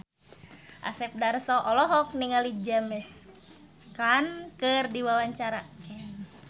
Asep Darso olohok ningali James Caan keur diwawancara